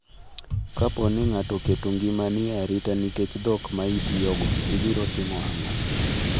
Kapo ni ng’ato oketo ngimani e arita nikech dhok ma itiyogo, ibiro timo ang’o?